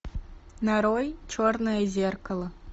нарой черное зеркало